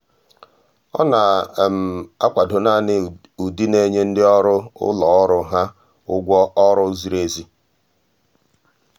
ọ́ nà-ákwàdò nāànị́ ụ́dị́ nà-ènyé ndị ọ́rụ́ ụ́lọ́ ọ́rụ́ há ụ́gwọ́ ọ́rụ́ ziri ezi.